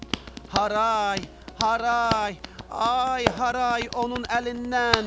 Haray, haray, ay haray onun əlindən!